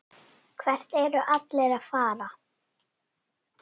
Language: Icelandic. Hvert eru allir að fara?